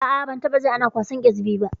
A'a, ni dai ban taɓa jin ana kwasan ƙyasbi ba.